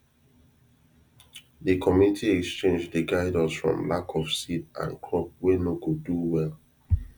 de community exchange dey guide us from lack of seed and crop wey no go do well